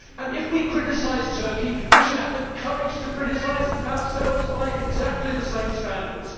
If we criticise Turkey, we should have the courage to criticise ourselves by exactly the same standards.